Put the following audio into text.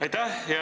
Aitäh!